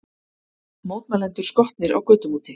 Mótmælendur skotnir á götum úti